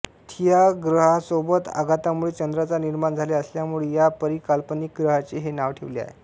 Theia ग्रहा सोबत आघातामुळे चंद्राचा निर्माण झाल्या असल्यमुळे या परिकल्पनिक ग्रहाचे हे नाव ठेवले आहे